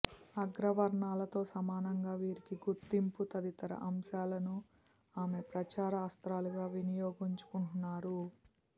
అగ్రవర్ణాలతో సమానంగా వీరికి గుర్తింపు తదితర అంశాలను ఆమె ప్రచార అస్త్రాలుగా వినియోగించుకుంటున్నారు